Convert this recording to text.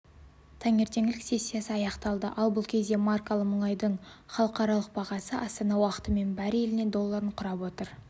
таңертеңгілік сессиясы аяқталды ал бұл кезде маркалы мұнайдың халықаралық бағасы астана уақытымен бареліне долларын құрап отыр